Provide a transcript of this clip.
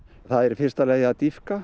það er í fyrsta lagi að dýpka